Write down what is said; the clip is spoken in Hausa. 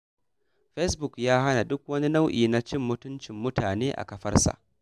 Facebook ya haramta duk wani nau'i na cin mutumcin mutane a kafarsa.